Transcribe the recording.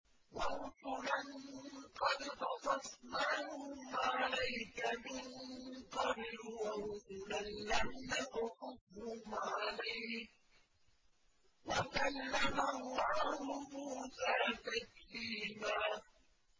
وَرُسُلًا قَدْ قَصَصْنَاهُمْ عَلَيْكَ مِن قَبْلُ وَرُسُلًا لَّمْ نَقْصُصْهُمْ عَلَيْكَ ۚ وَكَلَّمَ اللَّهُ مُوسَىٰ تَكْلِيمًا